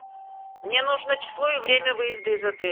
мне нужно число и время выезда из отеля